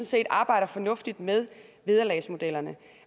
set arbejder fornuftigt med vederlagsmodellerne